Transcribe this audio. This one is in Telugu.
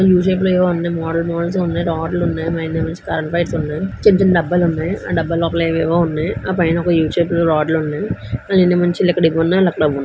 యు షేపు లో ఏవో అన్ని మోడల్ -మోడల్స్ గా ఉన్నాయి రాడ్లు ఉన్నాయి చిన్న-చిన్న డబ్బలు ఉన్నాయి ఆ డబ్బా లోపల ఏవేవో ఉన్నాయి ఆ పైన ఒక యు షేప్ లో రాడ్లు ఉన్నాయి అన్ని మంచిగా ఎక్కడెవ్వి ఉండాలో అక్కడవున్నాయ్.